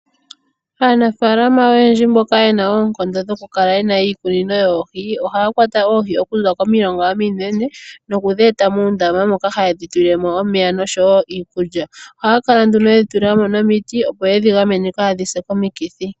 Aanafaalama oyendji mboka ye na oonkondo dho ku kala yena iikunino yoohi ohaya kwata oohi okuza komilonga ominene nokudhi eta muundama moka hayedhi tulile mo omeya nosho woo iikulya. Ohaya kala nduno yedhi tulila mo nomiti opo yedhi gamene kaadhi se komikithi.